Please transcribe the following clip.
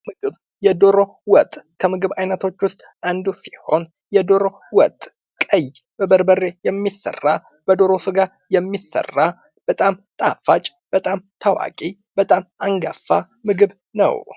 ምግብ የዶሮ ወጥ ከምግብ አይነቶች ውስጥ አንዱ ሲሆን የዶሮ ወጥ ቀይ በበርበሬ የሚሠራ በዶሮ ስጋ የሚሠራ በጣም ጣፋጭ፤ በጣም ታዋቂ፤ በጣም አንጋፋ ምግብ ነው።